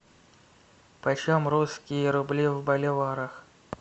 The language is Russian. почем русские рубли в боливарах